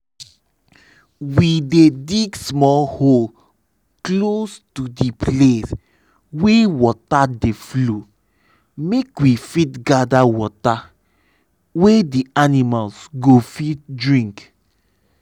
we dey dig small hole close to d place wey water dey flow make we fit gather water wey d animals go fit drink.